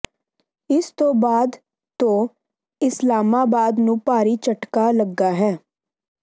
ਇਸ ਤੋਂ ਬਾਅਦ ਤੋਂ ਇਸਲਾਮਾਬਾਦ ਨੂੰ ਭਾਰੀ ਝਟਕਾ ਲੱਗਾ ਹੈ